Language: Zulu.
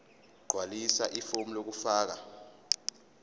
gqwalisa ifomu lokufaka